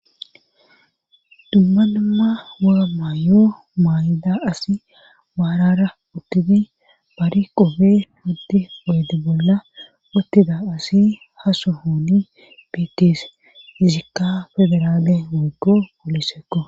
Dumma namma woga maayo maayida asi baarara uttidi bari qopfe hoddi poydi bolla uttida asi haso hooni bites hizikka federale woggo polisekko